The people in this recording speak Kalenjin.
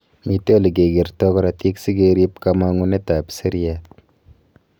metei olegegertoi karatig sigerip kamangunet ap seriat